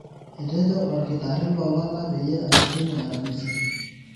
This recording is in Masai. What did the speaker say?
etejo olkitarri loo lala peyie ashukunye aramisi